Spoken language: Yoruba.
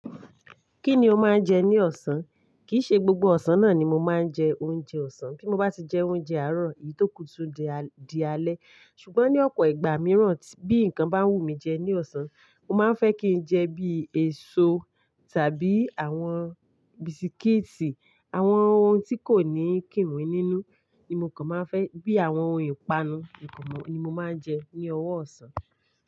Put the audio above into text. Kí ni o máa ń jẹ ní ọ̀sán? Kìí ṣe gbogbo ọ̀sán náà ni mo máa ń jẹ oúnjẹ ọ̀sán. Bí mo bá ti jẹ oúnjẹ àárọ̀, èyí tó kù tún di alẹ́. Ṣùgbọ́n ní ọ̀pọ̀ ìgbà mìíràn, bí nǹkan bá wù mí jẹ ní ọ̀sán, mo máa ń fẹ́ kí n jẹ bí èso tàbí àwọn bisikíìtì. Àwọn ohun tí kò ní kíǹ wí nínú ni mo kàn máa ń fẹ́ bí àwọn ohun ìpanu nìkan ni mo máa ń jẹ ní ọwọ ọ̀sán.